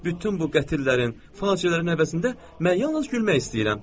Bütün bu qətillərin, faciələrin əvəzində mən yalnız gülmək istəyirəm.